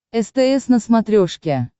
стс на смотрешке